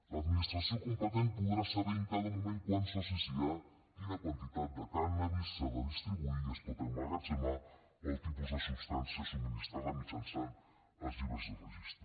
l’administració competent podrà saber en cada moment quants socis hi ha quina quantitat de cànnabis s’ha de distribuir i es pot emmagatzemar o el tipus de substància subministrada mitjançant els llibres de registre